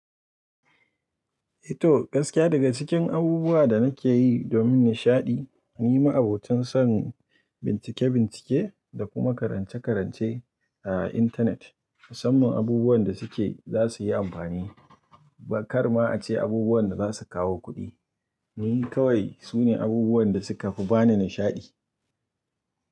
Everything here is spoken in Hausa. Eto, gaskiya daga cikin abubuwa da nake yi domin nishaɗi, ni ma abotin son bincike-bincike da kuma karance-karance a intanet musamman abubuwan da suke za su yi amfani. Ba kar ma a ce abubuwan da za su kawo kuɗi. Ni kawai su ne abubuwan da suka fi ba ni nishaɗi.